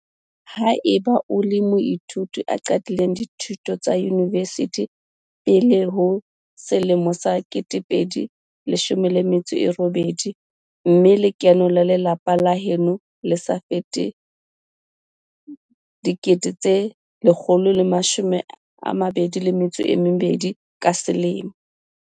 Ha eba o le moithuti a qadileng dithuto tsa yunivesithi pele ho 2018 mme lekeno la lelapa la heno le sa fete R122 000 ka selemo.